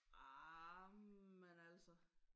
Arh men altså